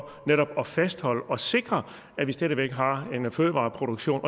netop at fastholde og sikre at vi stadig væk har en fødevareproduktion